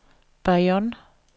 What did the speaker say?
Bayonne